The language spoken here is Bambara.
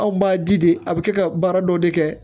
Anw b'a di de a bɛ kɛ ka baara dɔ de kɛ